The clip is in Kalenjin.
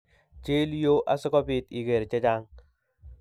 Chil yuu asikobit iger chechang